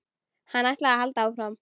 Hann ætlaði að halda áfram.